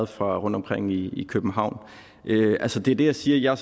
fra rundtomkring i i københavn altså det det jeg siger er